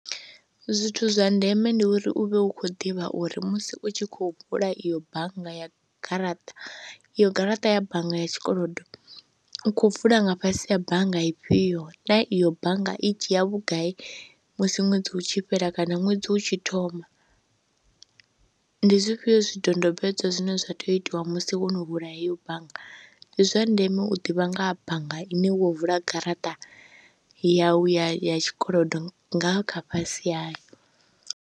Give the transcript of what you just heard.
Zwithu zwa ndeme ndi uri u vhe u khou ḓivha uri musi u tshi khou vula iyo bannga ya garaṱa iyo garaṱa ya bannga ya tshikolodo u khou vula nga fhasi ha bannga ifhio na iyo bannga i dzhia vhugai musi ṅwedzi u tshi fhela kana ṅwedzi u tshi thoma. Ndi zwifhio zwidodombedzwa zwine zwa tea u itiwa musi wo no vula heyo bannga. Ndi zwa ndeme u ḓivha nga ha bannga ine wo vula garaṱa yau ya tshikolodo nga kha fhasi hayo.